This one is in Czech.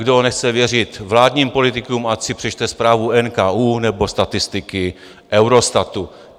Kdo nechce věřit vládním politikům, ať si přečte zprávu NKÚ nebo statistiky Eurostatu.